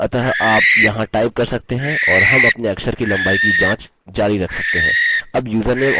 बल्कि यदि इस फंक्शन में इस्तेमाल स्ट्रिंग लम्बाई 25 से बड़ी है